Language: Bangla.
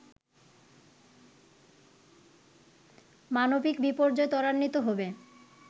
মানবিক বিপর্যয় ত্বরান্বিত হবে